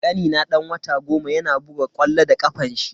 Kanina dan wata goma yana buga ƙwallo da kafanshi.